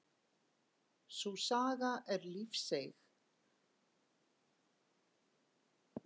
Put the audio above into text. Sú saga er lífseiga að brak í liðum geti leitt til liðagigtar.